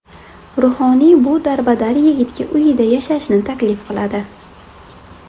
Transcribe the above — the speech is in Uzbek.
Ruhoniy bu darbadar yigitga uyida yashashni taklif qiladi.